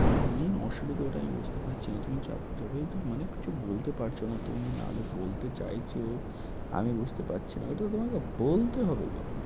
কী যে main অসুবিধা ওটাই আমি বুঝতে পারছি না। তুমি যা~যবে এইটুক মানে কিছু বলতে পারছ না তুমি নাহলে বলতে চাইছ আমি বুঝতে পারছি না। এটা তোমাকে বলতে হবে গো।